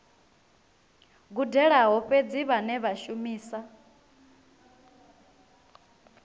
gudelaho fhedzi vhane vha shumisa